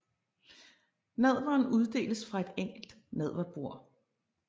Nadveren uddeles fra et enkelt nadverbord